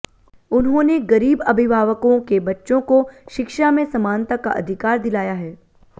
उन्होंने गरीब अभिभावकों के बच्चों को शिक्षा में समानता का अधिकार दिलाया है